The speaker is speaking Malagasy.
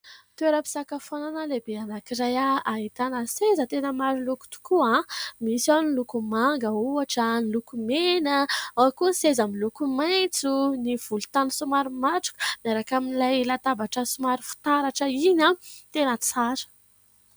Toeram-pisakafoanana lehibe anankiray, ahitana seza tena maro loko tokoa, misy ao ny loko manga ohatra ny loko mena, ao koa ny seza miloko maitso, ny volontany somary matroka miaraka amin'ilay latabatra somary fitaratra iny, tena tsara